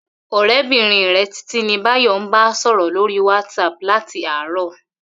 Ò̩ré̩bìnrin rè̩ Títí ni Báyò̩ ń bá sò̩rò̩ lórí WhatsApp láti àárò̩